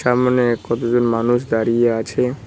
সামনে কতজন মানুষ দাঁড়িয়ে আছে।